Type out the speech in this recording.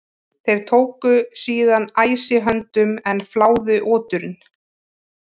Þeir tóku síðan æsi höndum en fláðu oturinn.